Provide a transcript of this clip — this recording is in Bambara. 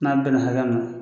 N'a bɛnna hakɛ min na